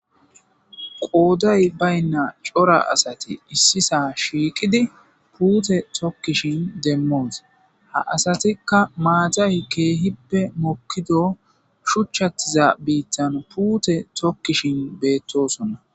qooday baynna cora asati issisa shiiqidi puute tokkishin demmoos ha asatikka maaxay keehippe mokkido shuchchattiza biittan puute tokkishin beettosonna.